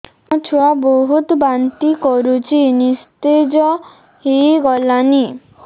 ମୋ ଛୁଆ ବହୁତ୍ ବାନ୍ତି କରୁଛି ନିସ୍ତେଜ ହେଇ ଗଲାନି